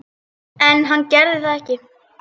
En hann gerir það ekki.